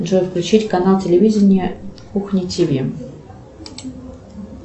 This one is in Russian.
джой включить канал телевидения кухня тв